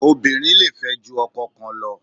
Obìnrin le fẹ́ ju ọkọ kan lọ.